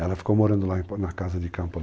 Ela ficou morando lá na casa de campo.